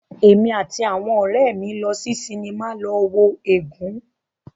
Èmi àti àwọn ọ̀rẹ́ mí lọ sí sinimá lọ wo "Ègún".